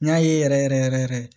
N y'a ye yɛrɛ yɛrɛ yɛrɛ